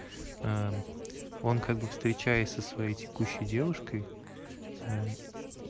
ээ он как бы встречаясь со своей текущей девушкой ээ